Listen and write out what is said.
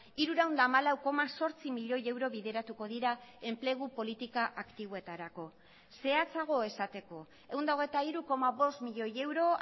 hirurehun eta hamalau koma zortzi milioi euro bideratuko dira enplegu politika aktiboetarako zehatzago esateko ehun eta hogeita hiru koma bost milioi euro